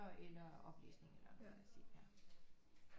Eller oplæsninger eller noget i den stil